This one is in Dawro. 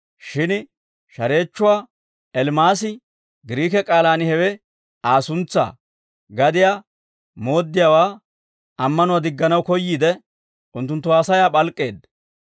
Shin shareechchuwaa Elimaasi (Giriike k'aalaan hewe Aa suntsaa) gadiyaa mooddiyaawaa ammanuwaa digganaw koyyiide, unttunttu haasayaa p'alk'k'eedda.